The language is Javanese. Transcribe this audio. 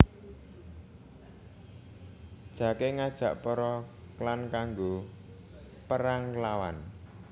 Jake ngajak para klan kanggo perang nglawan